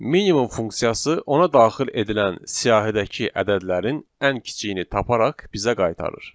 Minimum funksiyası ona daxil edilən siyahidəki ədədlərin ən kiçiyini taparaq bizə qaytarır.